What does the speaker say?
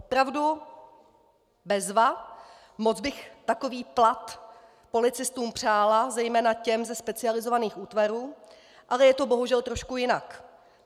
Opravdu bezva, moc bych takový plat policistům přála, zejména těm ze specializovaných útvarů, ale je to bohužel trošku jinak.